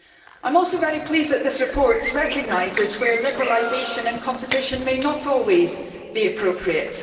I am also very pleased that this report recognises where liberalisation and competition may not always be appropriate.